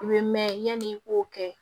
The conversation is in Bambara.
U bɛ mɛn yanni i k'o kɛ